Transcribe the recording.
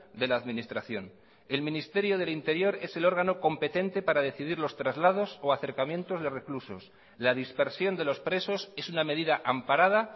de la administración el ministerio del interior es el órgano competente para decidir los traslados o acercamientos de reclusos la dispersión de los presos es una medida amparada